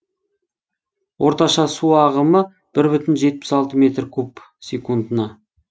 орташа су ағымы бір бүтін жетпіс алты метр куб секундына